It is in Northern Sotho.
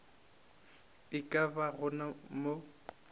e ka ba go mo